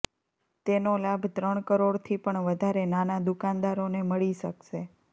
તેનો લાભ ત્રણ કરોડથી પણ વધારે નાના દુકાનદારોને મળી શકશે